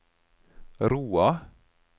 Roa